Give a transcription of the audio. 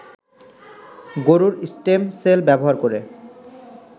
গরুর stem cell ব্যবহার করে